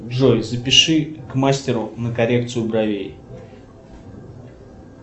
джой запиши к мастеру на коррекцию бровей